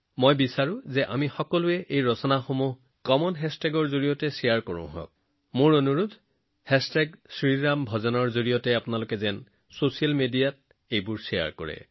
এটা কথা মোৰ মনলৈ আহে এই সকলোবোৰ ৰচনা আমি এটা সাধাৰণ হেচটেগৰ জৰিয়তে শ্বেয়াৰ কৰিব নোৱাৰোনে আপোনালোকলৈ মোৰ বিনম্ৰ অনুৰোধ শ্ৰীৰামভজনৰ সৈতে আপোনালোকৰ ৰচনাসমূহ ছচিয়েল মিডিয়াত শ্বেয়াৰ কৰক